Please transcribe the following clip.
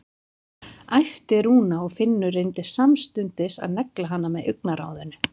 æpti Rúna og Finnur reyndi samstundis að negla hana með augnaráðinu.